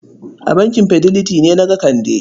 A bankin Fidelity na ga Kande?